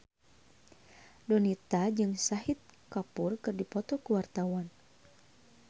Donita jeung Shahid Kapoor keur dipoto ku wartawan